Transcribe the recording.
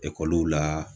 Ekɔli la